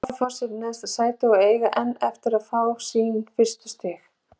Álafoss er í neðsta sæti og eiga enn eftir að fá sín fyrstu stig.